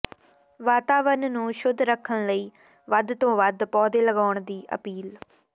ਵਾਤਾਵਰਨ ਨੂੰ ਸ਼ੁੱਧ ਰੱਖਣ ਲਈ ਵੱਧ ਤੋਂ ਵੱਧ ਪੌਦੇ ਲਾਉਣ ਦੀ ਅਪੀਲ